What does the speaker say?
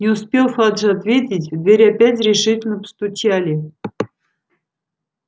не успел фадж ответить в дверь опять решительно постучали